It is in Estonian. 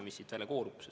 Mis siit välja koorub?